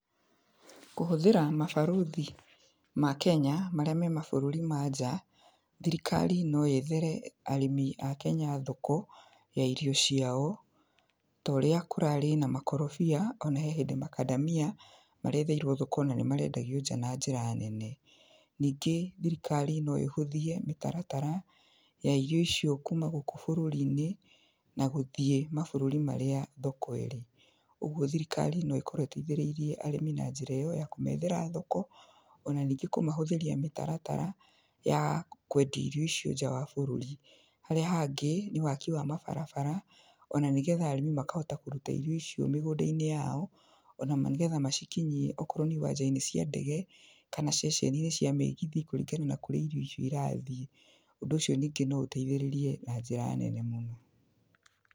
Kũhũthĩra mabarothi ma Kenya, marĩa memabũrũri ma nja thirikari noyethere arĩmi a Kenya thoko ya irio ciao, torĩa kũrarĩ na makorobia, ona he hĩndĩ makandamia maretheirio thoko na nĩ marendagio nja na njĩra nene. ningĩ thirikari no ĩhũthie mĩtaratara ya irio icio kuuma gũkũ bũrũri-inĩ, na gũthiĩ mabũrũri marĩa thoko ĩrĩ, ũguo thirikari no ĩkorwo ĩteithĩrĩirie arĩmi na njĩra ĩyo ya kũmethera thoko, ona ningĩ kũmahũthĩria mĩtaratara ya kwendia irio icio nja wa bũrũri, harĩa hangĩ nĩ waki wa mabarabara ona nĩgetha arĩmi makahota kũruta irio icio mĩgũnda-inĩ yao ona nĩgetha macikinyhie okorwo nĩ iwanja-inĩ cia ndege, kana ceceninĩ cia mĩgithi kũringana na kũrĩa irio icio irathiĩ, ũndũ ũcio ningĩ no ũteithĩrĩrie na njĩra nene mũno.